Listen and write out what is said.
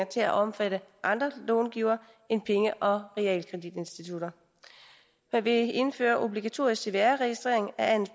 til at omfatte andre långivere end penge og realkreditinstitutter man vil indføre obligatorisk cvr registrering af